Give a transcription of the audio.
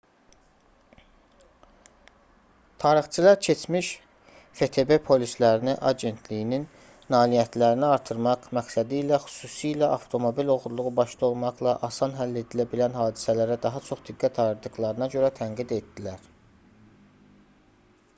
tarixçilər keçmiş ftb polislərini agentliyin nailiyyətlərini artırmaq məqsədilə xüsusilə avtomobil oğurluğu başda olmaqla asan həll edilə bilən hadisələrə daha çox diqqət ayırdıqlarına görə tənqid etdilər